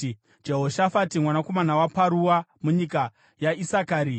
Jehoshafati mwanakomana waParua, munyika yaIsakari;